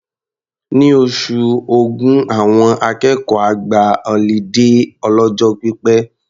Ní oṣù Ògún, àwọn akẹ́kọ̀ọ́ á gba ọlídé ọlọ́jọ́ pípẹ́.